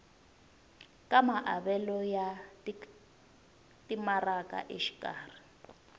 ka maavelo ya timaraka exikarhi